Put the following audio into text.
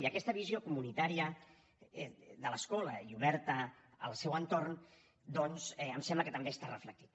i aquesta visió comunitària de l’escola i oberta al seu entorn doncs em sembla que també està reflectida